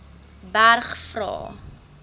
berg vra